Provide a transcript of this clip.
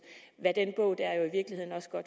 hvad den bog der have